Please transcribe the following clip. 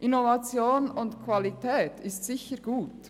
Innovation und Qualität sind sicher gut.